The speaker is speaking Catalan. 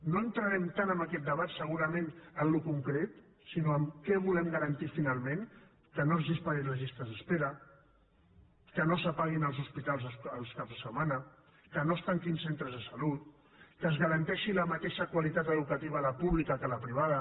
no entrarem tant en aquest debat segurament en allò concret sinó en el que volem garantir finalment que no es disparin les llistes d’espera que no s’apaguin els hospitals els caps de setmana que no es tanquin centres de salut que es garanteixi la mateixa qualitat educativa a la pública que a la privada